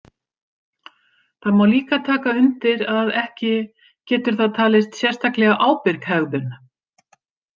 Það má líka taka undir að ekki getur það talist sérstaklega ábyrg hegðun.